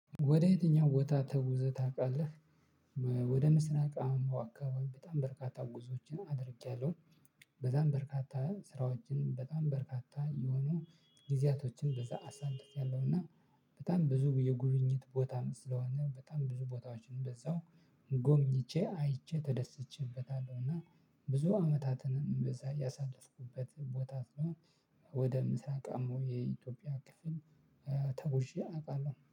ወደ የትኛው ቦታ ተጉዘህ ታውቃለህ? ወደ ምስራቅ አምቦ አካባቢ በጣም በርካታ ጉዞዎችን አድርጌያለሁ። በዛም በርካታ ስራዎችን በጣም በርካታ የሆኑ ጊዜያቶችን በዛ አሳልፌያለሁ እና በጣም ብዙ የጉብኝት ቦታም ስለሆነ በጣም ብዙ ቦታዎችን በዛው ጎብኝቼ አይቼ ተደስቼበታለሁ። እና ብዙ አመታትንም በዛ ያሳለፍኩበት ቦታት ነው። ወደ ምስራቃማው የኢትዮጵያ ክፍል ተጉዤ አውቃለሁ